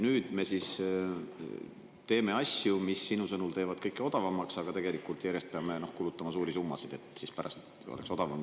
Nüüd me teeme asju, mis sinu sõnul teevad kõike odavamaks, aga tegelikult peame kulutama järjest suuremaid summasid, et pärast oleks odavam.